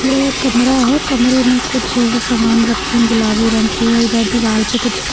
यह एक कमरा है कमरे में कुछ सामान रखी गुलाबी रंग की हैं इधर दीवाल पे कुछ--